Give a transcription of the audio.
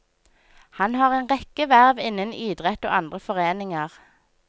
Han har en rekke verv innen idrett og andre foreninger.